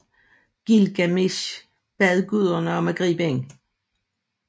Gilgamesh bad guderne om at gribe ind